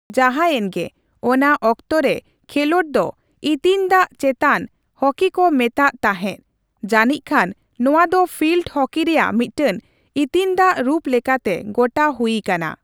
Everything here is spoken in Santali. ᱡᱟᱦᱟᱭᱮᱱᱜᱮ, ᱚᱱᱟ ᱚᱠᱛᱚᱨᱮ, ᱠᱷᱮᱞᱚᱸᱰ ᱫᱚ ''ᱤᱛᱤᱧ ᱫᱟᱜᱽ ᱪᱮᱛᱟᱱ ᱦᱚᱠᱤ'' ᱠᱚ ᱢᱮᱛᱟᱜ ᱛᱟᱦᱮᱸ, ᱡᱟᱹᱱᱤᱡᱽᱠᱷᱟᱱ ᱱᱚᱣᱟ ᱫᱚ ᱯᱷᱤᱞᱰ ᱦᱚᱠᱤ ᱨᱮᱭᱟᱜ ᱢᱤᱫᱴᱟᱝ ᱤᱛᱤᱧ ᱫᱟᱜᱽ ᱨᱩᱯ ᱞᱮᱠᱟᱛᱮ ᱜᱚᱴᱟ ᱦᱩᱭ ᱟᱠᱟᱱᱟ ᱾